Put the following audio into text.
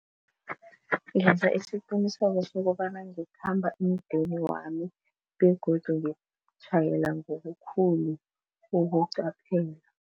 Ngenza isiqiniseko sokobana ngikhamba emdeni wami begodu ngiyokutjhayela ngokukhulu ukuqaphela.